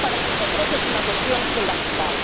Para nosotros es una cuestión fundamental.